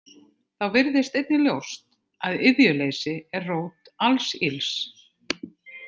Þá virðist einnig ljóst að iðjuleysi er rót alls ills.